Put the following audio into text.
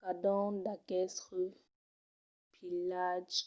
cadun d’aquestes pilhatges